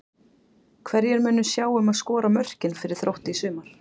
Hverjir munu sjá um að skora mörkin fyrir Þrótt í sumar?